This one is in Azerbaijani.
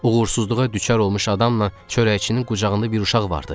Uğursuzluğa düçar olmuş adamla çörəkçinin qucağında bir uşaq vardı.